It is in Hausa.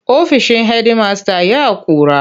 Ofishin hedimasta ya ƙura.